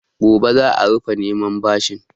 Gobe za a rufe neman bashin.